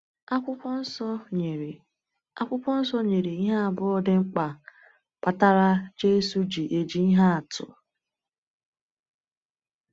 Akwụkwọ Nsọ nyere Akwụkwọ Nsọ nyere ihe abụọ dị mkpa kpatara Jésù ji eji ihe atụ.